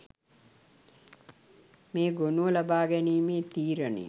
මේ ගොනුව ලබා ගැනීමේ තීරණය